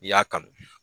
N'i y'a kanu